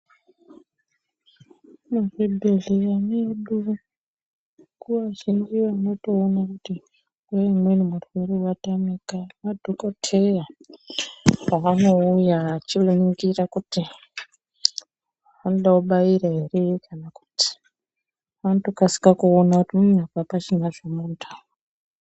Muzvibhedhleya mwedu nguwa zhinji unotoona kuti nguwa imweni murwere watamika madhokodheya paanouya achiningira kuti anode kubaira ere kana kuti anotokasike kuona kuti apachina zvemuntu apa.